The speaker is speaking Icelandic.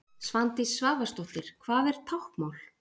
Svandís Svavarsdóttir Hvað er táknmál?